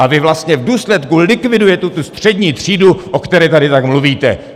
A vy vlastně v důsledku likvidujete tu střední třídu, o které tady tak mluvíte.